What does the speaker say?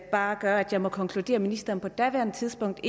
bare gør at jeg må konkludere at ministeren på daværende tidspunkt